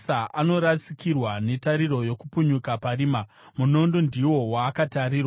Anorasikirwa netariro yokupunyuka parima; munondo ndiwo waakatarirwa.